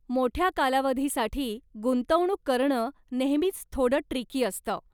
मोठ्या कालावधीसाठी गुंतवणूक करणं नेहमीचं थोडं ट्रिकी असतं.